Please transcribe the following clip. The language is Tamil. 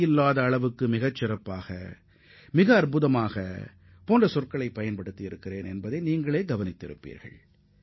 நான் மிகச்சிறந்த அல்லது இதற்கு முன் கண்டிராத சாதனை என்ற வார்த்தையை அடிக்கடி சுட்டிக்காட்டியிருப்பதை நீங்கள் கவனித்திருப்பீர்கள்